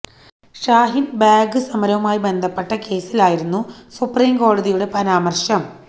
ഷാഹിന് ബാഗ് സമരവുമായി ബന്ധപ്പെട്ട കേസിലായിരുന്നു സുപ്രീം കോടതിയുടെ പരാമര്ശം